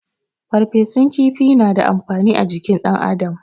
Farfesun kifi na da amfani ajikin dan adam